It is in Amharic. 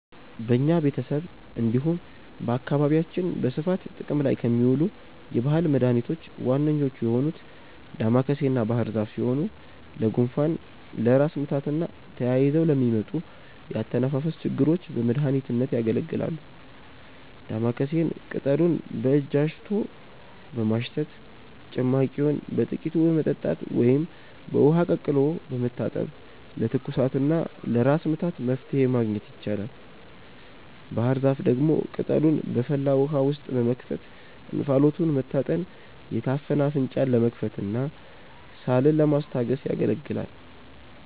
በኛ ቤተሰብ እንዲሁም በአካባቢያችን በስፋት ጥቅም ላይ ከሚውሉ የባህል መድኃኒቶች ዋነኞቹ የሆኑት ዳማከሴና ባህርዛፍ ሲሆኑ ለጉንፋን፣ ለራስ ምታትና ተያይዘው ለሚመጡ የአተነፋፈስ ችግሮች በመድሀኒትነት ያገለግላሉ። ዳማከሴን ቅጠሉን በእጅ አሽቶ በማሽተት፣ ጭማቂውን በጥቂቱ በመጠጣት ወይም በውሃ ቀቅሎ በመታጠን ለትኩሳትና ለራስ ምታት መፍትሔ ማግኘት ይቻላል። ባህርዛፍ ደግሞ ቅጠሉን በፈላ ውሃ ውስጥ በመክተት እንፋሎቱን መታጠን የታፈነ አፍንጫን ለመክፈትና ሳልን ለማስታገስ ያገለግላል።